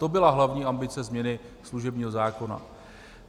To byla hlavní ambice změny služebního zákona.